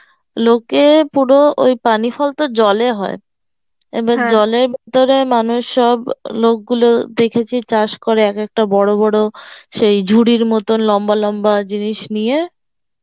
লোকে পুরো ওই পানিফল তো জলে হয় মানুষ সব লোক গুলো দেখেছি চাষ করে এক একটা বড় বড় সেই ঝুড়ির মতো লম্বা লম্বা জিনিস নিয়ে